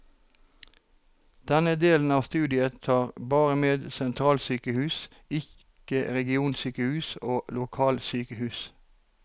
Denne delen av studien tar bare med sentralsykehus, ikke regionsykehus og lokalsykehus.